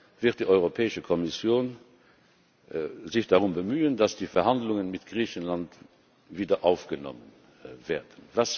ist, wird sich die Europäische Kommission darum bemühen, dass die Verhandlungen mit Griechenland wieder aufgenommen werden.